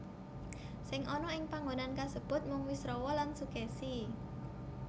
Sing ana ing panggonan kasebut mung Wisrawa lan Sukèsi